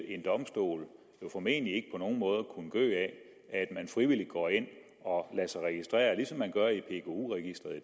en domstol vil jo formentlig ikke på nogen måder kunne gø af at man frivilligt går ind og lader sig registrere ligesom man gør i pku registeret